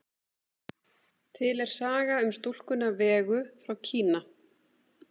Til er saga um stúlkuna Vegu frá Kína.